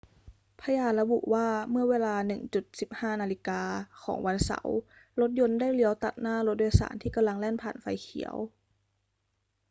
พยานระบุว่า เมื่อเวลา 1.15 น ของวันเสาร์รถยนต์ได้เลี้ยวตัดหน้ารถโดยสารที่กำลังแล่นผ่านไฟเขียว